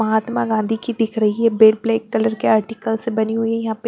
महात्मा गांधी की दिख रही है बेल ब्लैक कलर के आर्टिकल से बनी हुई है यहां पे--